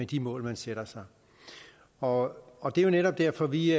de mål man sætter sig og og det er jo netop derfor at vi